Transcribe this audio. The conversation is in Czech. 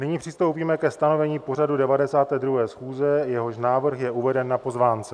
Nyní přistoupíme ke stanovení pořadu 92. schůze, jehož návrh je uveden na pozvánce.